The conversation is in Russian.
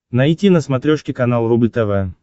найти на смотрешке канал рубль тв